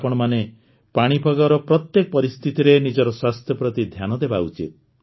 ଆପଣମାନେ ପାଣିପାଗର ପ୍ରତ୍ୟେକ ପରିସ୍ଥିତିରେ ନିଜର ସ୍ୱାସ୍ଥ୍ୟ ପ୍ରତି ଧ୍ୟାନ ଦେବା ଉଚିତ